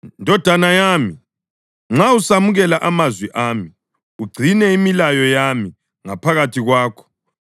Ndodana yami, nxa usamukela amazwi ami ugcine imilayo yami ngaphakathi kwakho,